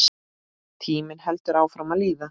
Tíminn heldur áfram að líða.